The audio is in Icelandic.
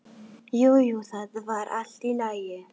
Jú, jú, það var allt í lagi.